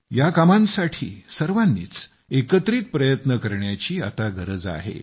या कामांसाठी सर्वांनीच एकत्रित प्रयत्न करण्याची आता गरज आहे